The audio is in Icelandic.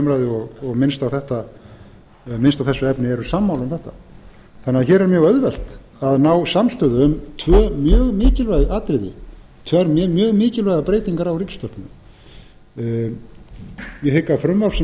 af þessari umræðu og minnst á þessi efni eru sammála um þetta þannig að hér er mjög auðvelt að ná samstöðu um tvö mjög mikilvæg atriði tvær mjög mikilvægar breytingar á ríkisútvarpinu ég hygg að frumvarp sem